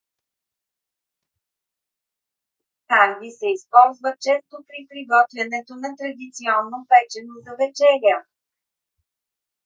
ханги се използва често при приготвянето на традиционно печено за вечеря